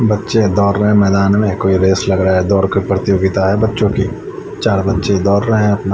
बच्चे दौर रहे है मैदान में कोई रेस लग रहा है दौड़ की प्रतियोगिता है बच्चों की चार बच्चे दौर रहे है अपना--